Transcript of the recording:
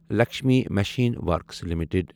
Lakshmi machine works limited